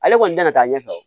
Ale kɔni tɛna taa ɲɛfɛ wa